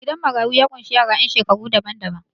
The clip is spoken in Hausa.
Gidan marayu ya ƙunshi yasa ƴan shekaru daban-daban.